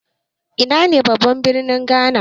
Ina ne babban birnin Ghana?